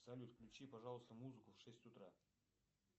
салют включи пожалуйста музыку в шесть утра